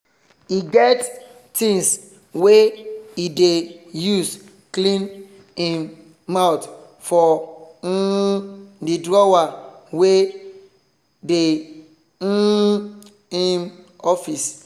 he get things wey he dey use clean him mouth for um the drawer wey dey um him office